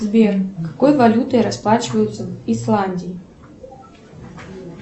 сбер какой валютой расплачиваются в исландии